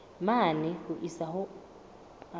mane ho isa ho a